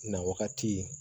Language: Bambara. Na wagati